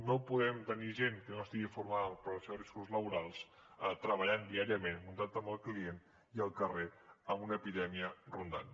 no podem tenir gent que no estigui formada en prevenció de riscos laborals treballant diàriament en contacte amb el client i al carrer amb una epidèmia rondant